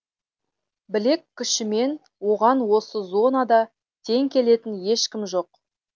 білек күшімен оған осы зонада тең келетін ешкім жоқ